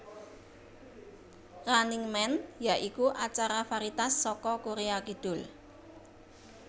Running Man ya iku acara varietas saka Korea Kidul